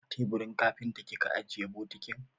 A teburin kafinta kika ajiye bokitin?